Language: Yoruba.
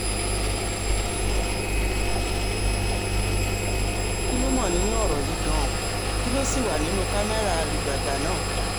kí lo mọ̀ nínú ọ̀rọ̀ yìí gan-an kí ló sì wà nínú kámẹ́rà àlùgbàgbà náà